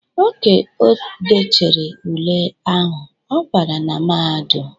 Oge o dechere ule ahụ ọ bara na mahadum.